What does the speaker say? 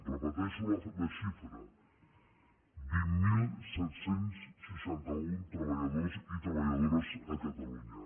repeteixo la xifra vint mil set cents i seixanta un treballadors i treballadores a catalunya